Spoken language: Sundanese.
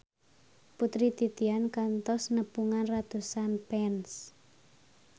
Putri Titian kantos nepungan ratusan fans